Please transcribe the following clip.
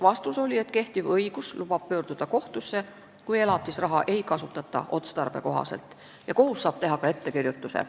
Vastus oli, et kehtiv õigus lubab pöörduda kohtusse, kui elatusraha ei kasutata otstarbekohaselt, ja kohus saab teha ka ettekirjutuse.